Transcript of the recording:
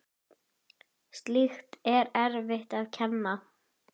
Slíkt er erfitt að kenna.